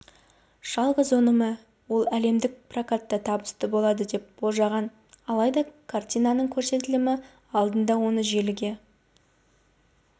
жалғыз өнімі ол әлемдік прокатта табысты болады деп болжанған алайда картинаның көрсетілімі алдында оны желіге